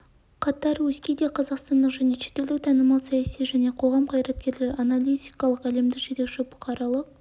қатар өзге де қазақстандық және шетелдік танымал саяси және қоғам қайраткерлері аналитиктер әлемдік жетекші бұқаралық